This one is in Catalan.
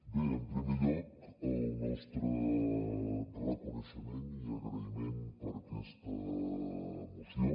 bé en primer lloc el nostre reconeixement i agraïment per aquesta moció